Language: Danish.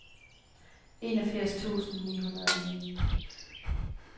enogfirs tusind ni hundrede og ni